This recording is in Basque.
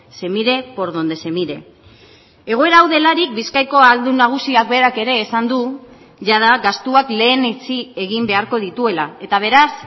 se mire por donde se mire egoera hau delarik bizkaiko ahaldun nagusiak berak ere esan du jada gastuak lehenetsi egin beharko dituela eta beraz